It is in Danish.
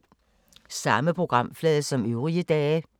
Samme programflade som øvrige dage